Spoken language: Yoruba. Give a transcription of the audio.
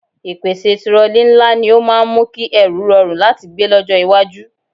Ìpèsè tirọlí ńlá ni ó máa ń mú kí ẹrù rọrùn láti gbé lọ́jọ́ iwájú